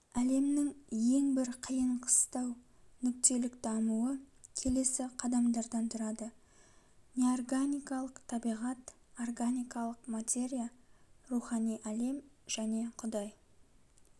әлемнің ең бір қиын қиыстау нүктелік дамуы келесі қадамдардан тұрады неорганикалық табиғат органикалық материя рухани әлем және құдай